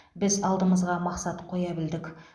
біз алдымызға мақсат қоя білдік